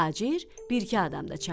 Tacir bir iki adam da çağırdı.